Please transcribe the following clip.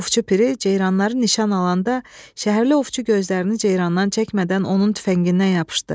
Ovçu piri ceyranları nişan alanda, şəhərli ovçu gözlərini ceyrandan çəkmədən onun tüfəngindən yapışdı.